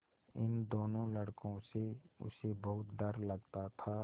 इन दोनों लड़कों से उसे बहुत डर लगता था